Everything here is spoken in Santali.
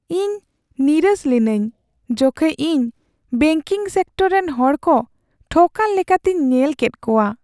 ᱤᱧ ᱱᱤᱨᱟᱹᱥ ᱞᱤᱱᱟᱹᱧ ᱡᱚᱠᱷᱮᱡ ᱤᱧ ᱵᱮᱝᱠᱤᱝ ᱥᱮᱠᱴᱚᱨ ᱨᱮᱱ ᱦᱚᱲ ᱠᱚ ᱴᱷᱚᱠᱼᱟᱱ ᱞᱮᱠᱟᱛᱤᱧ ᱧᱮᱞ ᱞᱮᱫ ᱠᱚᱣᱟ ᱾